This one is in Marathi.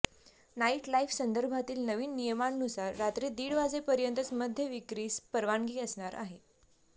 नाईट लाइफसंदर्भातील नवीन नियमांनुसार रात्री दीड वाजेपर्यंतच मद्यविक्रीस परवानगी असणार आहे